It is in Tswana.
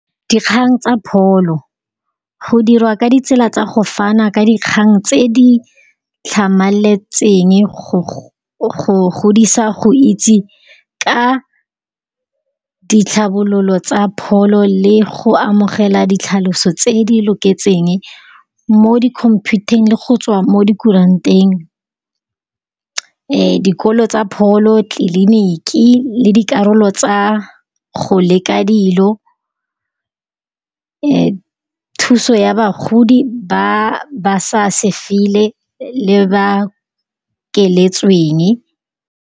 Dikgang tsa pholo, go dirwa ka ditsela tsa go fana ka dikgang tse di tlhamaletseng go godisa go itse ka ditlhabololo tsa pholo le go amogela ditlhaloso tse e di loketseng mo di -computer-ng le go tswa mo di kuranteng. Dikolo tsa pholo, tleliniki le dikarolo tsa go leka dilo thuso ya bagodi ba sa sefile le ba keletsweng.